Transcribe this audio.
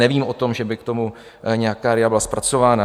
Nevím o tom, že by k tomu nějaká RIA byla zpracována.